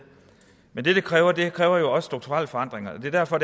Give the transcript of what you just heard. men det kræver det kræver jo også strukturelle forandringer og det er derfor